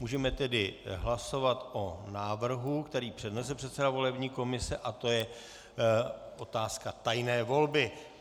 Můžeme tedy hlasovat o návrhu, který přednesl předseda volební komise, a to o otázce tajné volby.